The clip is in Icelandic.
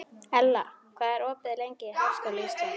Ella, hvað er opið lengi í Háskóla Íslands?